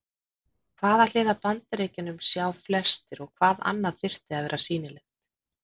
Hvaða hlið af Bandaríkjunum sjá flestir og hvað annað þyrfti að vera sýnilegt?